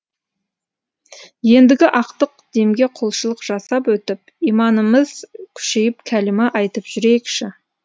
ендігі ақтық демге құлшылық жасап өтіп иманымыз күшейіп кәлима айтып жүрейікші